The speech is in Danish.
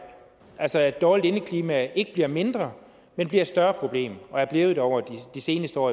altså at dårligt indeklima ikke bliver et mindre men bliver et større problem og er blevet det over de seneste år